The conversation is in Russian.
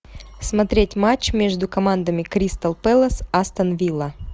смотреть матч между командами кристал пэлас астон вилла